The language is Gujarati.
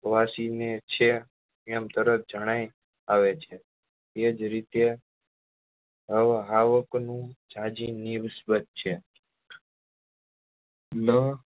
વાશી ને છે એમ તરત જણાય આવે છે એ જ રીતે હાવક નું જાજી નીશ્બ્ધ છે લ